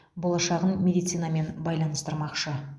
болашағын медицинамен байланыстырмақшы